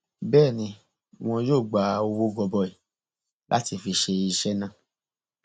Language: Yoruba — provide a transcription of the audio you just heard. bẹẹ ni wọn yóò gba owó gọbọi láti fi ṣe iṣẹ náà